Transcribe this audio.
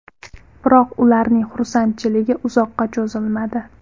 Biroq, ularning xursandchiligi uzoqqa cho‘zilmadi.